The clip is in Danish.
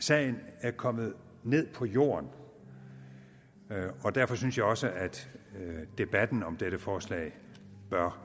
sagen er kommet ned på jorden derfor synes jeg også at debatten om dette forslag bør